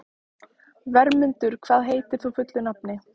Vermundur, hvað heitir þú fullu nafni?